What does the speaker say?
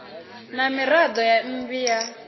na miraḓo ya mmbi ya